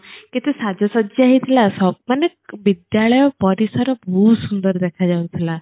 କେତେ ସାଜ ସଜା ହେଇଥିଲା ସବ୍ ମାନେ ବିଦ୍ୟାଳୟ ପରିସର ବହୁତ ସୁନ୍ଦର ଦେଖା ଯାଉଥିଲା